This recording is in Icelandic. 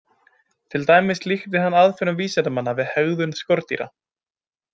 Til dæmis líkti hann aðferðum vísindanna við hegðun skordýra.